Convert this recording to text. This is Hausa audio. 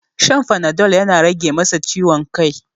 Shan panadol yana rage masa ciwon kai.